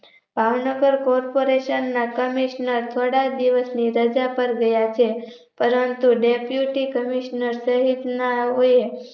Bhavnagar Corporation ના Commissioner થોડા દિવસની રાજા પર ગયા છે પરંતુ Deputy Commissioner સહીત ના ઓએ